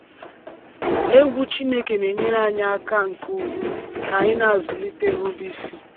Egwu Chineke na-enyere aka nke ukwuu ka anyị na-azụlite nrubeisi.